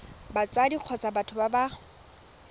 batsadi kgotsa batho ba ba